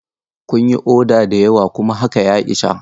Kun yi oda da yawa kuma haka ya isa.